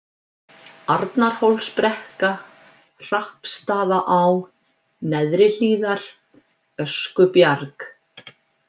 Arnarhólsbrekka, Hrappsstaðaá, Neðrihlíðar, Öskubjarg